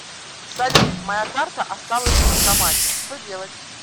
салют моя карта осталась в банкомате что делать